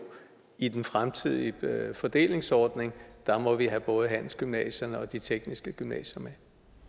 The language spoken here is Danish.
i den fremtidige fordelingsordning må vi have både handelsgymnasierne og de tekniske gymnasier med